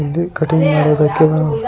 ಇಲ್ಲಿ ಕಟಿಂಗ್ --